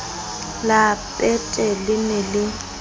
la peete le ne le